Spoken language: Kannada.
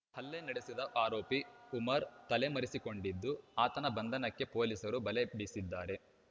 ಹಲ್ಲೆ ನಡೆಸಿದ ಆರೋಪಿ ಉಮರ್‌ ತಲೆಮರೆಸಿಕೊಂಡಿದ್ದು ಆತನ ಬಂಧನಕ್ಕೆ ಪೊಲೀಸರು ಬಲೆ ಬೀಸಿದ್ದಾರೆ